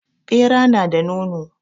Ɓera nada nono